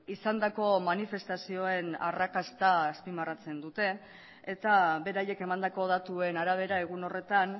izandako manifestazioen arrakasta azpimarratzen dute eta beraiek emandako datuen arabera egun horretan